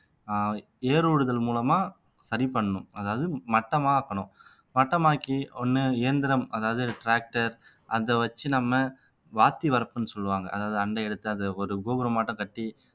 அஹ் ஏர் ஓடுதல் மூலமா சரி பண்ணணும் அதாவது மட்டமாக்கணும் மட்டமாக்கி ஒண்ணு இயந்திரம் அதாவது tractor அதை வச்சு நம்ம வாத்தி வரப்புன்னு சொல்லுவாங்க அதாவது அந்த இடத்தை அது ஒரு கோபுரம் மட்டும் கட்டி